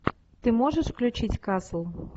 ты можешь включить касл